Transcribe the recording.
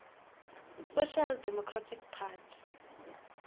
social democratic party